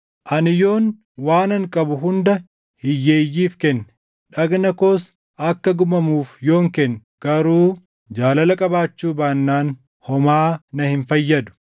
Ani yoon waanan qabu hunda hiyyeeyyiif kenne, dhagna koos akka gubamuuf yoon kenne, garuu jaalala qabaachuu baannaan homaa na hin fayyadu.